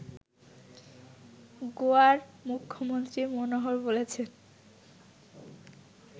গোয়ার মুখ্যমন্ত্রী মনোহর বলেছেন